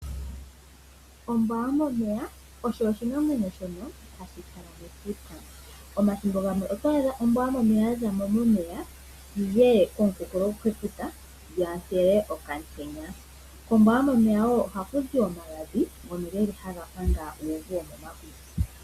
Ombwa yomomeya osho oshinamwenyo shono hashi kala mefuta . Omathimbo gamwe oto adha ombwa yomomeya yazamo momeya yiye okumunkulo futa yontele okamutenya . Kombwa yomomeya wo oha kuzi omagadhi ngono haga panga uuvu womomakutsi .